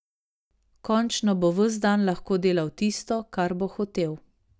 Končno bo ves dan lahko delal tisto, kar bo hotel.